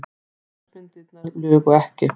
Ljósmyndirnar lugu ekki.